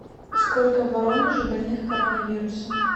сколько в воронеже больных коронавирусом